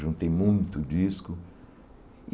Juntei muito disco.